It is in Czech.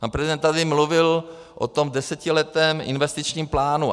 Pan prezident tady mluvil o tom desetiletém investičním plánu.